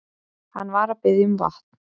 Hann var að biðja um vatn.